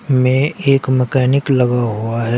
में एक मैकेनिक लगा हुआ है।